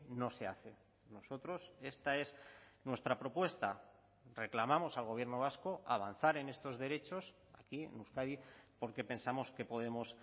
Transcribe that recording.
no se hace nosotros esta es nuestra propuesta reclamamos al gobierno vasco avanzar en estos derechos aquí en euskadi porque pensamos que podemos